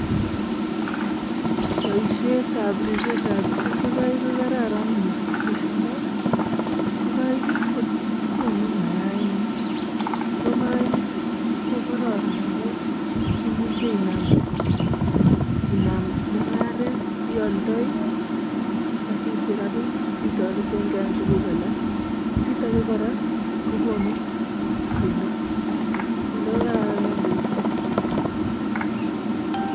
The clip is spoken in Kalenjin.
Boishetab ribetab ingokaik ko kararan mising kot amun ing'okaik ko konuu mayainik, ak ko mainichu ko kororon amun imuche inaam mung'aret, ioldoi asisich rabinik asitorteng'e en tukuk alak, kiit akee kora ko konukinde kiit nekararan en borto.